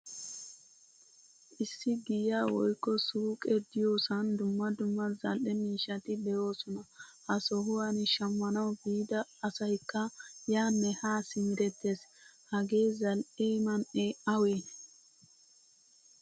Issi giyaa woykko suuqe de'iyosan dumma dumma zal'ee miishshati deosona. Ha sohuwan shammanawu biida asaykka yaane haa simerettees. Hagee zal'ee man'ee awee?